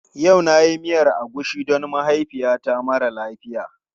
Yau na yi miyar agushi don mahaifiyata mara lafiya.